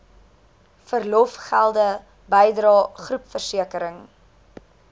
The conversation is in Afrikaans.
verlofgelde bydrae groepversekering